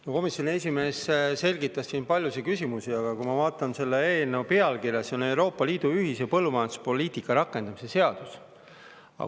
No komisjoni esimees selgitas siin paljusid küsimusi, aga ma vaatan, et selle eelnõu pealkirjas on "Euroopa Liidu ühise põllumajanduspoliitika rakendamise seadus".